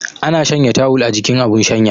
Ana shanya tawul a jikin abun shanya